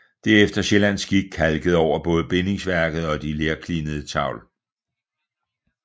Det er efter sjællandsk skik kalket over både bindingsværk og de lerklinede tavl